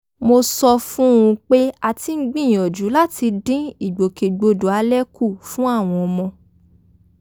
mo sọ fún un pé a ti ń gbìyànjú láti dín ìgbòkègbodò alẹ kù fún àwọn ọmọ